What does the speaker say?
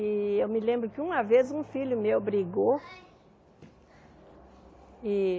E eu me lembro que uma vez um filho meu brigou e.